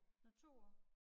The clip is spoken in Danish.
Nåh 2 år